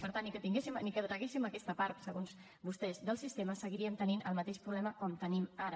per tant encara que traguéssim aquesta part segons vostès del sistema seguiríem tenint el mateix problema que tenim ara